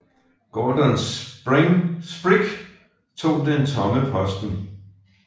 Gordon Sprigg tog den tomme posten